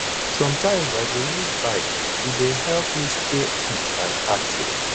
sometimes i go use bike e dey help me stay fit and active